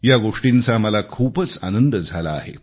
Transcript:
या गोष्टींचा मला खूपच आनंद झाला आहे